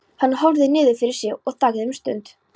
Hann horfði niður fyrir sig og þagði um stund.